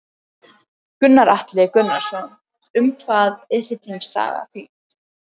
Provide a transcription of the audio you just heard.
Gunnar Atli Gunnarsson: Um hvað er hryllingssaga þín?